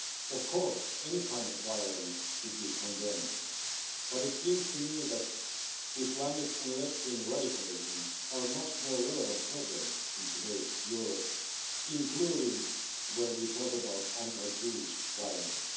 Of course, any kind of violence should be condemned, but it seems to me that Islamic and left-wing radicalism are much more relevant problems in today's Europe, including when we talk about anti-Jewish violence.